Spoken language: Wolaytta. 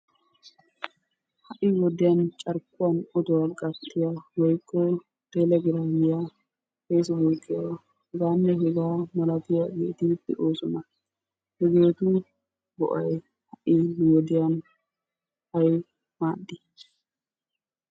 Ha'i wodiyan carkkuwan oduwa gattiya woykko telegramiya, faasibuukiya heganne hegaa malatiyageeti de'oosona. Hegeetu go"ay ha'i nu wodiyaa ay maadi?